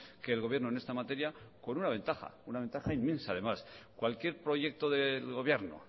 que el gobierno en esta materia con una ventaja una ventaja inmensa además cualquier proyecto del gobierno